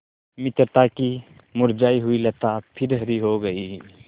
मित्रता की मुरझायी हुई लता फिर हरी हो गयी